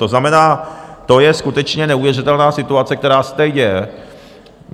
To znamená, to je skutečně neuvěřitelná situace, která se tady děje.